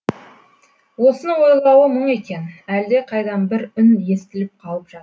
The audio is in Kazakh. осыны ойлауы мұң екен әлдеқайдан бір үн естіліп қалып жатты